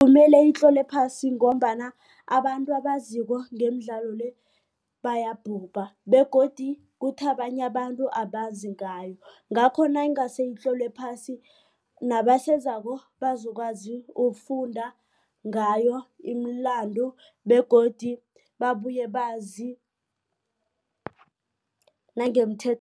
Kumelwe itlolwe phasi ngombana abantu abaziko ngemidlalo le bayabhubha begodu kuthi abanye abantu abazi ngayo. Ngakho nayingase itlolwe phasi nabasezako bazokwazi ukufunda ngayo imilando begodu babuye bazi